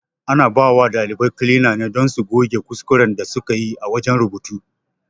Ana bawa ɗalibai kilina ne don su goge kuskuren da sukayi a wajen rubutu